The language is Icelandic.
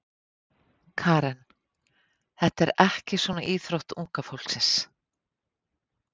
Karen: Þetta er ekki svona íþrótt unga fólksins?